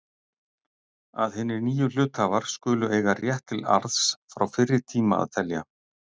að hinir nýju hluthafar skulu eiga rétt til arðs frá fyrri tíma að telja.